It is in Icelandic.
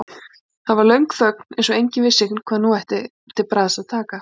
Það var löng þögn eins og enginn vissi hvað nú ætti til bragðs að taka.